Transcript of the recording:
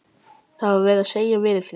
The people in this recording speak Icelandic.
Það var verið að segja veðurfréttir.